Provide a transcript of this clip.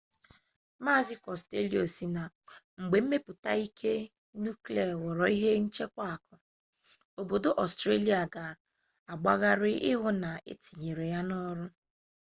mazị kostello sị na mgbe mmepụta ike nuklia ghọorọ ihe nchekwa akụ obodo ọstrelia ga agbagharị ịhụ na etinyere ya n'ọrụ